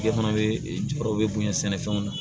E fana bɛ jɔyɔrɔ bɛ bonya sɛnɛfɛnw na